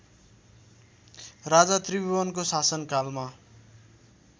राजा त्रिभुवनको शासनकालमा